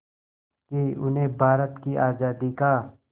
कि उन्हें भारत की आज़ादी का